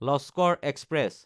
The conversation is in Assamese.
লস্কৰ এক্সপ্ৰেছ